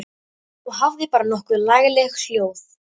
Og hafði bara nokkuð lagleg hljóð.